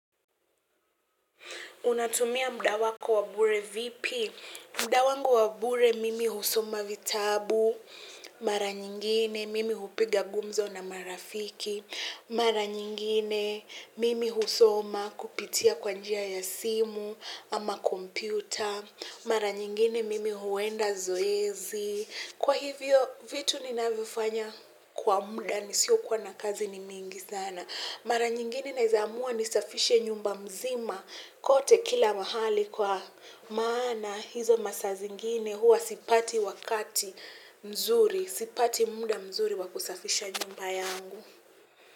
Unatumia muda wako wa bure vipi? Muda wangu wa bure mimi husoma vitabu mara nyingine mimi hupiga gumzo na marafiki. Mara nyingine mimi husoma kupitia kwa njia ya simu ama kompyuta. Mara nyingine mimi huenda zoezi. Kwa hivyo, vitu ninavyofanya kwa muda nisiokuwa na kazi ni mingi sana. Mara nyingine naeza amua nisafishe nyumba mzima kote kila mahali kwa maana hizo masaa zingine huwa sipati wakati mzuri, sipati muda mzuri wa kusafisha nyumba yangu.